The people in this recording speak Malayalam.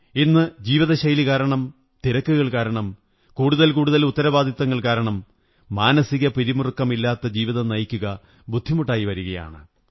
ഇന്ന് ജീവിതശൈലി കാരണം തിരക്കുകൾ കാരണം കൂടുതൽ കൂടുതൽ ഉത്തരവാദിത്തങ്ങൾ കാരണം മാനസികപിരിമുറുക്കമില്ലാത്ത ജീവിതം നയിക്കുക ബുദ്ധിമുട്ടായി വരുകയാണ്